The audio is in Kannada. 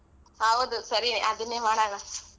ಹೌದು ಸರಿ ಅದನ್ನೇ ಮಾಡಾಣ.